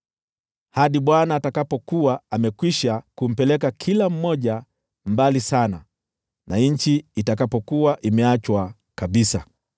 hadi Bwana atakapokuwa amekwisha kumpeleka kila mmoja mbali sana, na nchi itakapokuwa imeachwa kabisa.